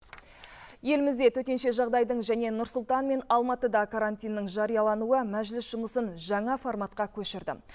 елімізде төтенше жағдайдың және нұр сұлтан мен алматыда карантиннің жариялануы мәжіліс жұмысын жаңа форматқа көшірді